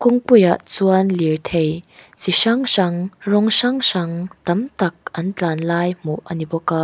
kawngpui ah chuan lirthei chi hrang hrang rawng hrang hrang tam tak an tlan lai hmuh a ni bawk a.